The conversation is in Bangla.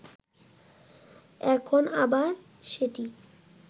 এখন আবার সেটি